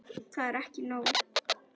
Það er ekki nóg.